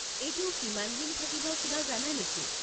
এইটো কিমানদিন থাকিব কিবা জানা নেকি?